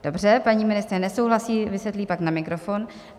Dobře, paní ministryně nesouhlasí, vysvětlí pak na mikrofon.